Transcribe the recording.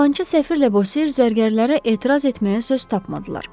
Yalancı səfir Lebosir zərgərlərə etiraz etməyə söz tapmadılar.